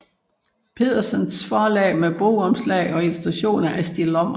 Pedersens Forlag med bogomslag og illustrationer af Stig Lommer